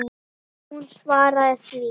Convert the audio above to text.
Hún svaraði því.